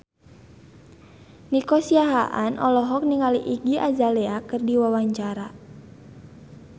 Nico Siahaan olohok ningali Iggy Azalea keur diwawancara